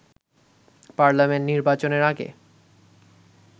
parliament নির্বাচনের আগে